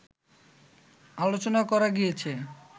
আলোচনা করা গিয়াছে